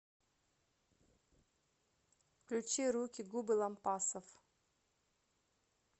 включи руки губы лампасов